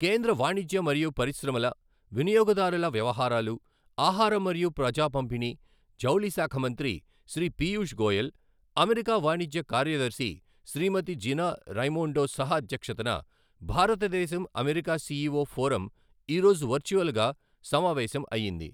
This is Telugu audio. కేంద్ర వాణిజ్య మరియు పరిశ్రమల, వినియోగదారుల వ్యవహారాలు, ఆహారం మరియు ప్రజా పంపిణీ, జౌళి శాఖ మంత్రి శ్రీ పీయూష్ గోయల్, అమెరికా వాణిజ్య కార్యదర్శి శ్రీమతి జినా రైమోండో సహ అధ్యక్షతన భారతదేశం అమెరికా సీఈఓ ఫోరమ్ ఈరోజు వర్చువల్గా సమావేశం అయింది.